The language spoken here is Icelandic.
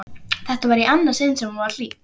Þetta var í annað sinn sem hún var hýdd.